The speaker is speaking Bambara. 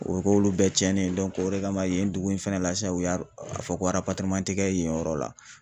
O be k'olu bɛɛ cɛnnen dɔnke o de kama yen dugu in fɛnɛ la sisan u y'a fɔ ko araparereman te kɛ yen yɔrɔ la